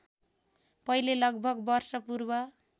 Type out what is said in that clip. पहिले लगभग वर्षपूर्व